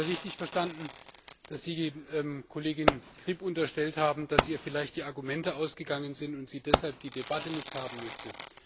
Habe ich Sie gerade richtig verstanden, dass Sie der Kollegin Le Grip unterstellt haben, dass ihr vielleicht die Argumente ausgegangen sind und sie deshalb die Debatte nicht haben möchte?